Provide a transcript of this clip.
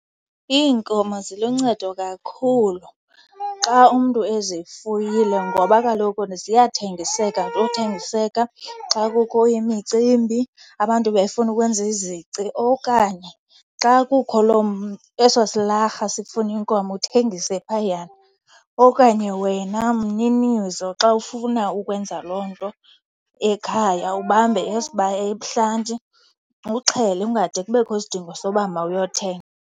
Iinkomo ziluncedo kakhulu xa umntu ezifuyile ngoba kaloku ziyathengiseka nothengiseka xa kukho imicimbi abantu befuna ukwenza izici. Okanye xa kukho loo , eso silarha sifuna inkomo uthengise phayana. Okanye wena mninizo xa ufuna ukwenza loo nto ekhaya ubambe ebuhlanti uxhele, kungade kubekho isidingo soba mawuyothenga.